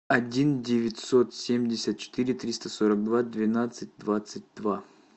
один девятьсот семьдесят четыре триста сорок два двенадцать двадцать два